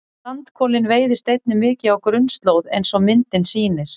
Sandkolinn veiðist einnig mikið á grunnslóð eins og myndin sýnir.